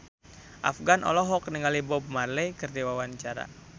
Afgan olohok ningali Bob Marley keur diwawancara